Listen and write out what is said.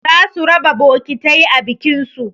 Za su raba bokitai a bikin su